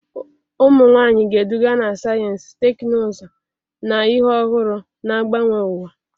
Ụmụ nwanyị ga-eduga na sayensị, teknụzụ, na ihe ọhụrụ, na-agbanwe ụwa.